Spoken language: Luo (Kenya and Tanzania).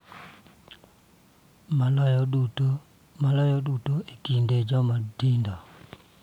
Maloyo duto e kind joma tindo.